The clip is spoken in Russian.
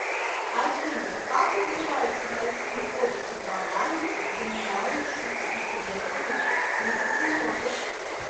афина как называется в россии отрасль ботаники занимающаяся исследование фитоценозов